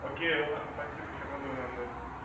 окей ладно спасибо сейчас подумаю да